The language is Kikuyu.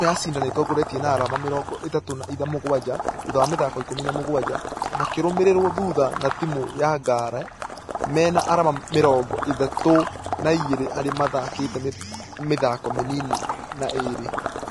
Timũ ya cider nĩĩtingorĩtie na arama mĩrongo ĩtatũ na mũgwaja thutha wa mĩthako ikũmi na mũgwaja, makĩrũmĩrĩrwo thutha na timũ ya ngare mena arama mĩrongo ĩtatũ na igĩrĩ arĩ mathakĩte mĩthako mĩnini na ĩrĩ .